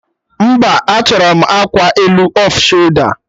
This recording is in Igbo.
Mba, achọrọ m akwa elu off sholda